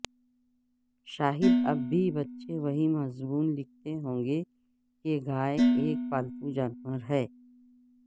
شاید اب بھی بچے وہی مضمون لکھتے ہوں گے کہ گائے ایک پالتو جانور ہے